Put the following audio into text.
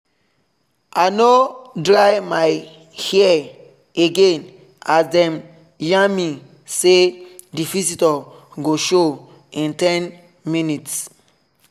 i no dry my hair again as dem yarn me say the visitor go show in ten minutes